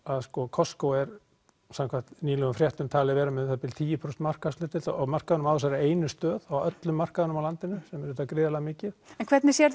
Costco er samkvæmt nýlegum fréttum talið vera með um það bil tíu prósent markaðshlutdeild á markaðnum á þessari einu stöð á öllum markaðnum á landinu sem er auðvitað gríðarlega mikið en hvernig sérðu